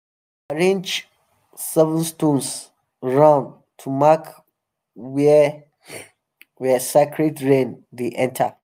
we go arrange seven stones round to mark where where sacred rain dey enter.